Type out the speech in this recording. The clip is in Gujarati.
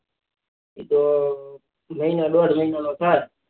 એતો મહિનો દોડ મહિના નો થાત